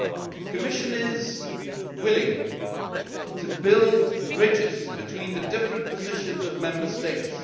The Commission is willing to build bridges between the different positions of Member States.